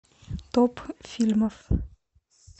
топ фильмов